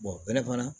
fana